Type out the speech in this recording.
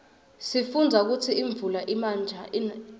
sifundza kutsi imuula ina njani